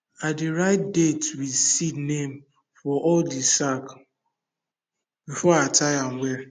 i dey write date with seed name for all the sack before i tie am well